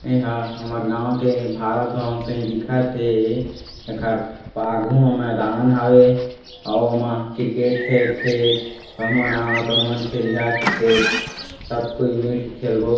एह हमर गाँव के भारत भवन सही दिखत हे एकर बाघु में मैदान हवे ओमा क्रिकेट खेलथे तहु मन आव तहु मन खेलिहा क्रिकेट सब कोई मिलके खेलबो--